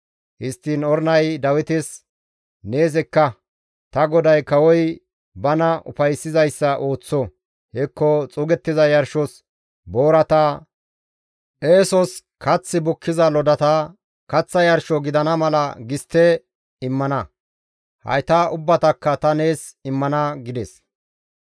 Histtiin Ornay Dawites, «Nees ekka; ta goday kawoy bana ufayssizayssa ooththo; hekko xuugettiza yarshos boorata, eesos kath bukkiza lodata, kaththa yarsho gidana mala gistte immana; hayta ubbatakka ta nees immana» gides.